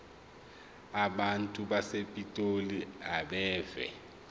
abantu basepitoli abeve